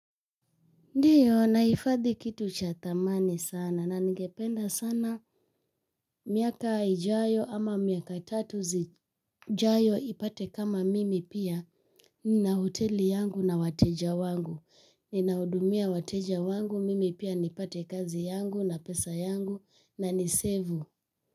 Ndiyo nahifadhi kitu cha thamani sana na ningependa sana miaka ijayo ama miaka tatu zijayo ipate kama mimi pia nina hoteli yangu na wateja wangu. Ninahudumia wateja wangu mimi pia nipate kazi yangu na pesa yangu na nisevu.